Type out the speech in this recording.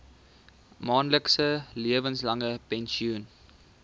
maandelikse lewenslange pensioen